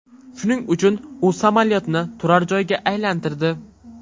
Shuning uchun u samolyotni turar joyga aylantirdi.